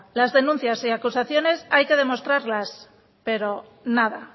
las denuncias y acusaciones hay que demostrarlas pero nada